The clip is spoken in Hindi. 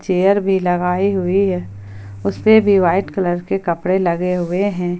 चेयर भी लगाई हुई है उस पे भी वाइट कलर के कपड़े लगे हुए हैं।